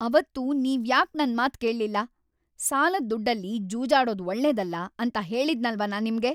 ಅವತ್ತು ನೀವ್ಯಾಕ್ ನನ್ ಮಾತ್ ಕೇಳ್ಲಿಲ್ಲ? ಸಾಲದ್‌ ದುಡ್ಡಲ್ಲಿ ಜೂಜಾಡೋದ್ ಒಳ್ಳೇದಲ್ಲ ಅಂತ ಹೇಳಿದ್ನಲ್ವಾ ನಾನ್‌ ನಿಮ್ಗೆ.